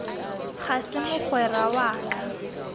ga se mogwera wa ka